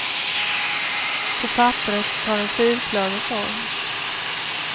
På papperet tar en fyrklöver form.